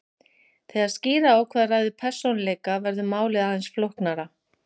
Þegar skýra á hvað ræður persónuleika verður málið aðeins flóknara.